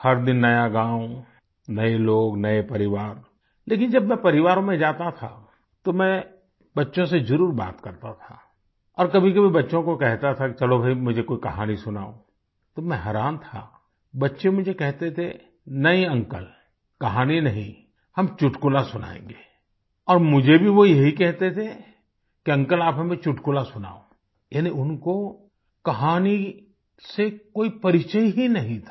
हर दिन नया गाँव नए लोग नए परिवार लेकिन जब मैं परिवारों में जाता था तो मैं बच्चों से जरुर बात करता था और कभीकभी बच्चों को कहता था कि चलो भई मुझे कोई कहानी सुनाओ तो मैं हैरान था बच्चे मुझे कहते थे नहीं अंकल कहानी नहीं हम चुटकुला सुनायेंगे और मुझे भी वो यही कहते थे कि अंकल आप हमें चुटकुला सुनाओ यानि उनको कहानी से कोई परिचय ही नहीं था